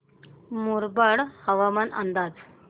मुरबाड हवामान अंदाज